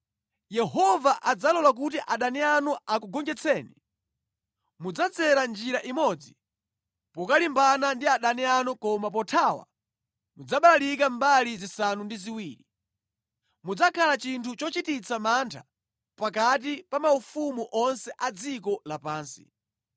Yehova adzalola kuti adani anu akugonjetseni. Mudzadzera njira imodzi pokalimbana ndi adani anu koma pothawa mudzabalalika mbali zisanu ndi ziwiri. Mudzakhala chinthu chochititsa mantha pakati pa maufumu onse a dziko lapansi.